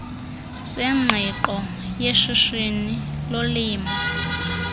sengqiqo seshishini lolimo